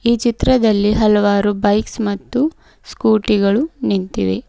ಈ ಚಿತ್ರದಲ್ಲಿ ಹಲವಾರು ಬೈಕ್ಸ್ ಮತ್ತು ಸ್ಕೂಟಿ ಗಳು ನಿಂತಿವೆ.